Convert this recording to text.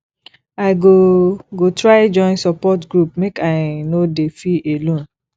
i go go try join support group make i no dey feel alone